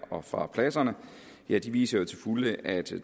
og fra pladserne viser til fulde at